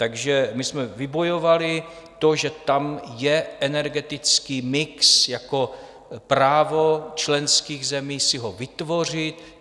Takže my jsme vybojovali to, že tam je energetický mix jako právo členských zemí si ho vytvořit.